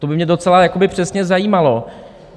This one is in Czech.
To by mě docela přesně zajímalo.